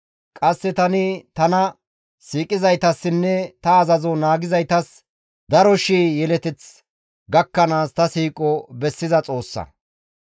Qasse tani tana siiqizaytassinne ta azazo naagizaytas daro shii yeleteth gakkanaas tani ta siiqo bessiza Xoossa.